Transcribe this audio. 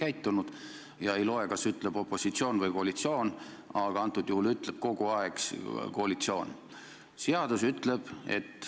Ei loe, kas halvasti käitub opositsioon või koalitsioon, aga viimasel ajal teeb seda kogu aeg koalitsioon.